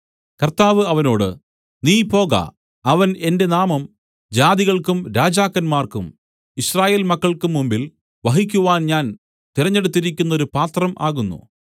കർത്താവ് അവനോട് നീ പോക അവൻ എന്റെ നാമം ജാതികൾക്കും രാജാക്കന്മാർക്കും യിസ്രായേൽമക്കൾക്കും മുമ്പിൽ വഹിക്കുവാൻ ഞാൻ തിരഞ്ഞെടുത്തിരിക്കുന്നൊരു പാത്രം ആകുന്നു